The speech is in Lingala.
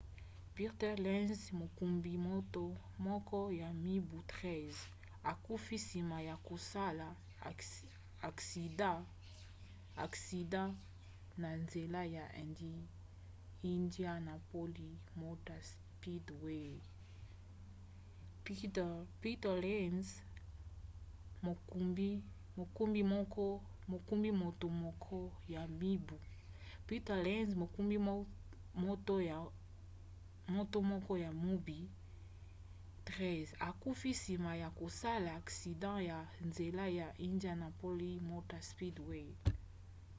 peter lenz mokumbi moto moko ya mibu 13 akufi nsima ya kosala aksida na nzela ya indianapolis motor speedway